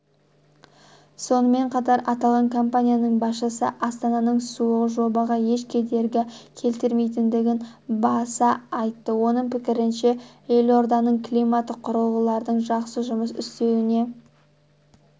сонымен қатар аталған компанияның басшысы астананың суығы жобаға еш кедергі келтірмейтіндігін баса айтты оның пікірінше елорданың климаты құрылғылардың жақсы жұмыс істеуіне